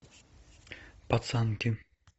пацанки